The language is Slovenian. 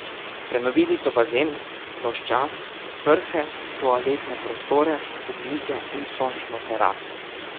Prenovili so bazen, ploščad, prhe, toaletne prostore, hodnike in sončno teraso.